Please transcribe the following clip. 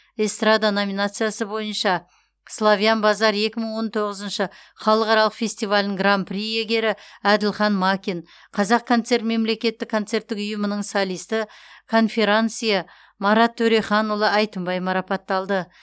эстрада номинациясы бойынша славян базар екі мың он тоғызыншы халықаралық фестивалінің гран при иегері әділхан макин қазақконцерт мемлекеттік концерттік ұйымының солисті конферансье марат төреханұлы әйтімбай марапатталды